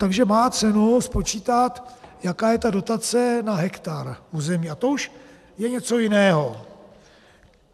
Takže má cenu spočítat, jaká je ta dotace na hektar území, a to už je něco jiného.